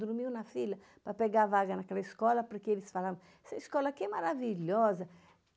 Dormiam na fila para pegar vaga naquela escola, porque eles falavam, essa escola aqui é maravilhosa.